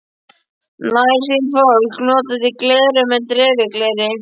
Nærsýnt fólk notar því gleraugu með dreifigleri.